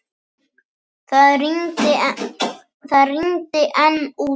Það rigndi enn úti.